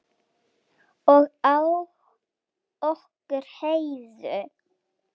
Og á okkur Heiðu.